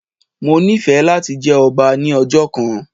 Mo nífẹ̀ẹ́ láti jẹ ọba ní ọjọ́ kan